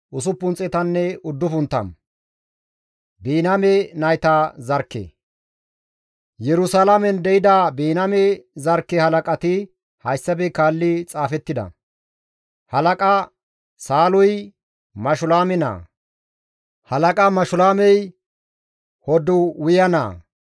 Yerusalaamen de7ida Biniyaame zarkke halaqati hayssafe kaalli xaafettida; Halaqa Saaluy Mashulaame naa; halaqa Mashulaamey Hoddaye naa; halaqa Hoddayey Hasanu7e naa.